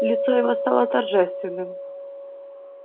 лицо его стало торжественным